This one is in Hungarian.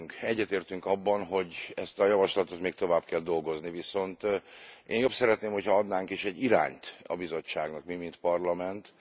Egyetértünk abban, hogy ezen a javaslaton még tovább kell dolgozni, viszont én jobb szeretném, hogyha adnánk is egy irányt a Bizottságnak mi mint Parlament.